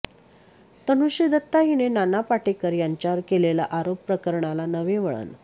तनुश्री दत्ता हिने नाना पाटेकर यांच्यावर केलेल्या आरोप प्रकरणाला नवे वळण